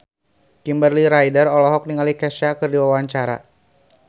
Kimberly Ryder olohok ningali Kesha keur diwawancara